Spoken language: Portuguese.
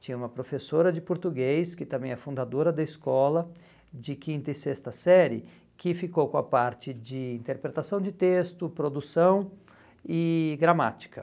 Tinha uma professora de português, que também é fundadora da escola de quinta e sexta série, que ficou com a parte de interpretação de texto, produção e gramática.